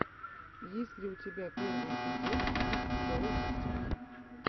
есть ли у тебя первый эпизод биг доус ти ви